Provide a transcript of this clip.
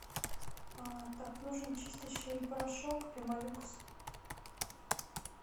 так нужен чистящий порошок пемолюкс